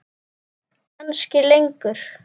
Kannski lengur.